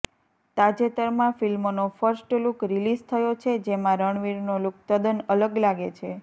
તાજેતરમાં ફિલ્મનો first look release થયો છે જેમાં રણવીરનો લુક તદ્દન અલગ લાગે છે